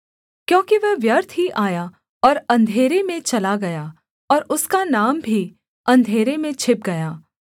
क्योंकि वह व्यर्थ ही आया और अंधेरे में चला गया और उसका नाम भी अंधेरे में छिप गया